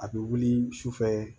A bɛ wuli sufɛ